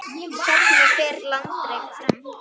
Hvernig fer landrek fram?